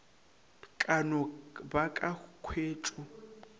ka no ba ka khwetšo